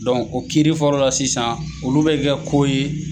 o kiri fɔlɔ la sisan , olu bɛ kɛ ko ye.